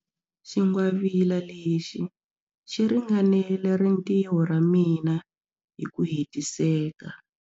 Xingwavila lexi xi ringanela rintiho ra mina hi ku hetiseka.